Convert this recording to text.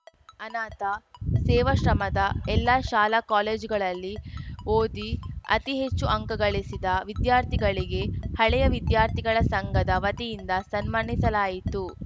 ಅನಾಥ ಸೇವಾಶ್ರಮದ ಎಲ್ಲ ಶಾಲಾ ಕಾಲೇಜುಗಳಲ್ಲಿ ಓದಿ ಅತಿ ಹೆಚ್ಚು ಅಂಕ ಗಳಿಸಿದ ವಿದ್ಯಾರ್ಥಿಗಳಿಗೆ ಹಳೆಯ ವಿದ್ಯಾರ್ಥಿಗಳ ಸಂಘದ ವತಿಯಿಂದ ಸನ್ಮಾನಿಸಲಾಯಿತು